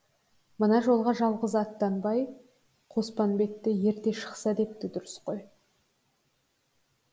мына жолға жалғыз аттанбай қоспанбетті ерте шықса тіпті дұрыс қой